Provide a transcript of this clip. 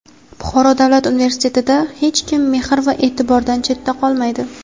Buxoro davlat universitetida "Hech kim mehr va e’tibordan chetda qolmaydi!"